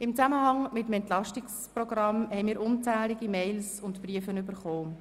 Im Zusammenhang mit dem Entlastungspaket (EP) haben wir unzählige E-Mails und Briefe erhalten.